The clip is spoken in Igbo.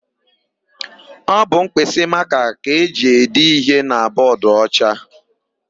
Ọ bụ mkpịsịmakaa ka e ji ede íhé na bọọdụocha.